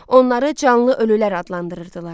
Onları canlı ölülər adlandırırdılar.